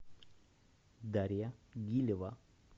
дарья гилева